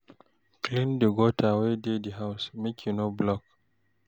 Clean di gutter wey dey di house, make e no block